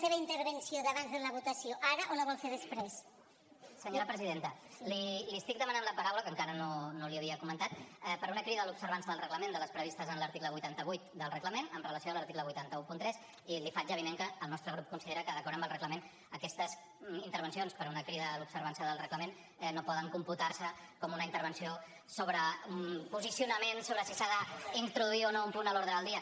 senyora presidenta li estic demanant la paraula que encara no l’hi havia comentat per una crida a l’observança del reglament de les previstes en l’article vuitanta vuit del reglament amb relació a l’article vuit cents i tretze i li faig avinent que el nostre grup considera que d’acord amb el reglament aquestes intervencions per una crida a l’observança del reglament no poden computar se com una intervenció sobre un posicionament sobre si s’ha d’introduir o no un punt o no a l’ordre del dia